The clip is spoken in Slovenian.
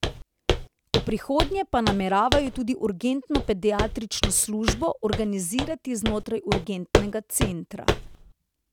V prihodnje pa nameravajo tudi urgentno pediatrično službo organizirati znotraj urgentnega centra.